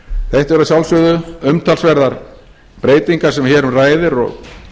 þetta eru að sjálfsögðu umtalsverðar breytingar sem hér um ræðir og